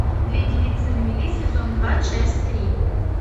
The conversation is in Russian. две девицы на мели сезон два часть три